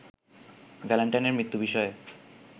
ভ্যালেন্টাইনের মৃত্যু বিষয়ে